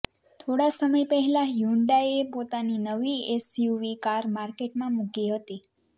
થોડા સમય પહેલા હ્યુડાઈએ પોતાની નવી એસયુવી કાર માર્કેટમાં મૂકી હતી